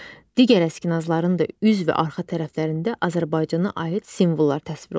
Digər əskinasların da üz və arxa tərəflərində Azərbaycana aid simvollar təsvir olunmuşdur.